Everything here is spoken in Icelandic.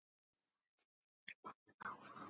Þannig lifir pabbi áfram.